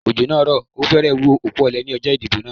Òjò naa rò o férè wú okú òle ní ọjó ìdìbò náà